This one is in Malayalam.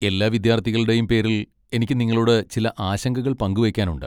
എല്ലാ വിദ്യാർത്ഥികളുടെയും പേരിൽ എനിക്ക് നിങ്ങളോട് ചില ആശങ്കകൾ പങ്കുവെയ്ക്കാനുണ്ട്.